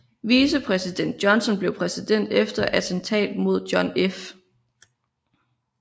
Vicepræsident Johnson blev præsident efter attentatet mod John F